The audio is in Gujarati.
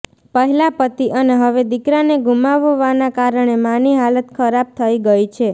પહેલા પતિ અને હવે દીકરાને ગુમાવવાના કારણે માની હાલત ખરાબ થઈ ગઈ છે